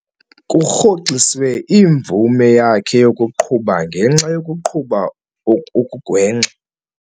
Kurhoxiswe imvume yakhe yokuqhuba ngenxa yokuqhuba okugwenxa.